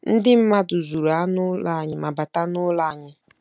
Ndị mmadụ zuru anụ ụlọ anyị ma bata n'ụlọ anyị.